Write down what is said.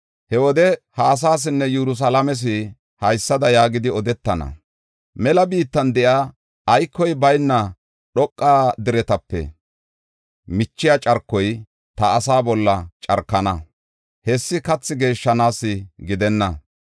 He wode ha asaasinne Yerusalaames haysada yaagidi odetana: “Mela biittan de7iya aykoy bayna dhoqa deretape michiya carkoy ta asaa bolla carkana; hessi kathi geeshshanaasa gidenna.